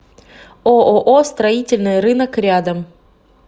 ооо строительный рынок рядом